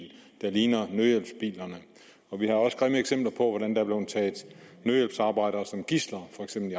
der ligner nødhjælpsbilerne og vi har også grimme eksempler på hvordan der blevet taget nødhjælpsarbejdere som gidsler